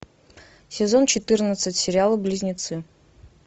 сезон четырнадцать сериал близнецы